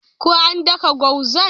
Ko an daka gwazan?